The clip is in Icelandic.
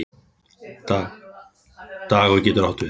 Dagur getur átt við